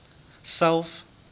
south